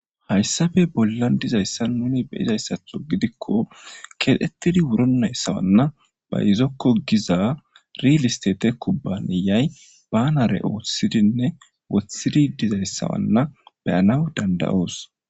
hayssafe bollan dizayssan nuni be izayssatho gidikko kexettidi wuro nayssawanna bayizokko giza rilistete kubbaniyay banare oothisidinne wothhidi dizayssanna beyanawu dandayoos